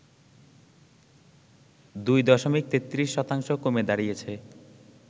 ২ দশমিক ৩৩ শতাংশ কমে দাঁড়িয়েছে